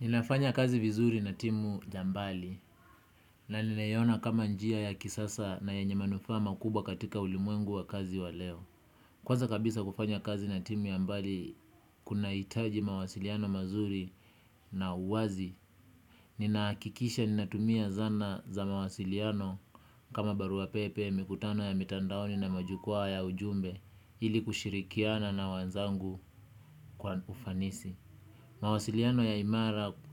Ninafanya kazi vizuri na timu ya mbali na ninaiona kama njia ya kisasa na yenye manufaa makubwa katika ulimwengu wa kazi wa leo. Kwanza kabisa kufanya kazi na timu ya mbali kunaitaji mawasiliano mazuri na uwazi. Ninaakikisha ninatumia zana za mawasiliano kama barua pepe mikutano ya mitandaoni na majukwaa ya ujumbe ili kushirikiana na wanzangu kwa ufanisi. Mawasiliano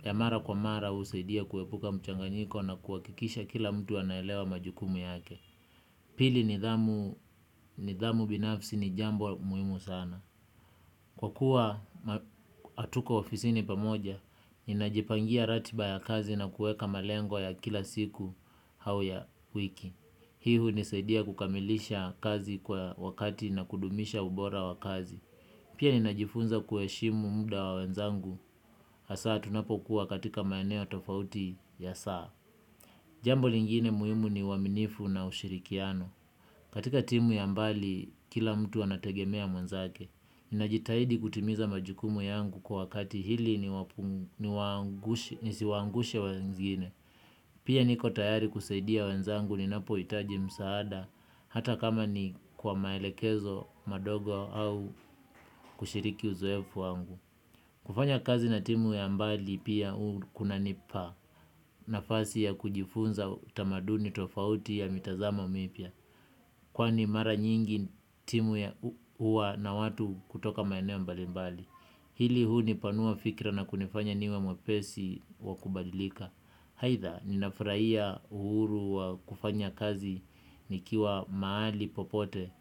ya mara kwa mara husaidia kuepuka mchanganyiko na kuhakikisha kila mtu anaelewa majukumu yake. Pili nidhamu binafsi ni jambo muhimu sana. Kwa kuwa atuko ofisini pamoja, ninajipangia ratiba ya kazi na kueka malengo ya kila siku hau ya wiki. Hii hunisaidia kukamilisha kazi kwa wakati na kudumisha ubora wa kazi. Pia ninajifunza kuheshimu muda wa wenzangu, hasaa tunapokuwa katika maeneo tofauti ya saa. Jambo lingine muhimu ni uaminifu na ushirikiano. Katika timu ya mbali, kila mtu anategemea mwenzake. Ninajitahidi kutimiza majukumu yangu kwa wakati hili nisiwaangushe wenzigine. Pia niko tayari kusaidia wenzangu ninapoitaji msaada, hata kama ni kwa maelekezo madogo au kushiriki uzoefu wangu. Kufanya kazi na timu ya mbali pia uu kunanipa nafasi ya kujifunza tamaduni tofauti ya mitazamo mipya. Kwani mara nyingi timu ya uwa na watu kutoka maeneo mbalimbali. Hili huunipanua fikira na kunifanya niwe mwepesi wa kubadilika. Haitha ninafraia uhuru wa kufanya kazi nikiwa maali popote.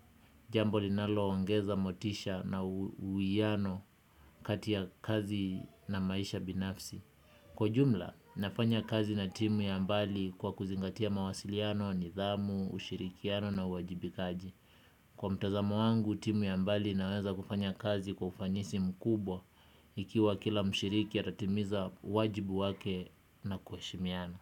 Jambo linaloongeza motisha na uuiano kati ya kazi na maisha binafsi. Kwa ujumla, nafanya kazi na timu ya mbali kwa kuzingatia mawasiliano, nidhamu, ushirikiano na uwajibikaji. Kwa mtazamo wangu, timu ya mbali inaweza kufanya kazi kwa ufanisi mkubwa ikiwa kila mshiriki atatimiza wajibu wake na kuheshimiana.